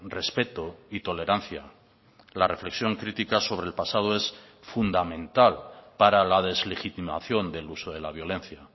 respeto y tolerancia la reflexión crítica sobre el pasado es fundamental para la deslegitimación del uso de la violencia